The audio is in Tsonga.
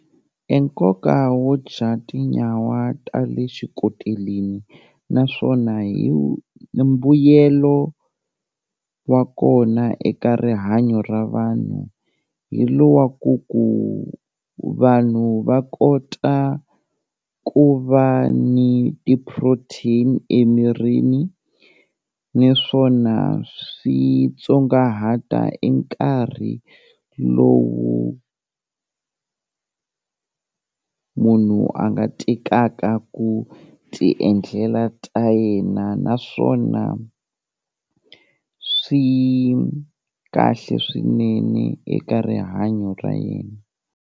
E nkoka wo dya tinyawa ta le xikoteleni naswona mbuyelo wa kona eka rihanyo ra vanhu hi lowa ku ku vanhu va kota ku va ni ti-protein emirini, niswona swi tsongahata i nkarhi lowu munhu a nga tekaka ku ti endlela ta yena, naswona swi kahle swinene eka rihanyo ra yena.